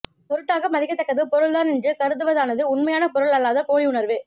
பொருட்டாக மதிக்கத் தக்கது பொருள்தான் என்று கருதுவதானது உண்மையான பொருள் அல்லாத போலி உணர்வு